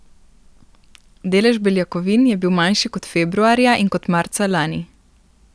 Delež beljakovin je bil manjši kot februarja in kot marca lani.